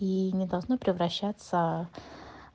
и не должны превращаться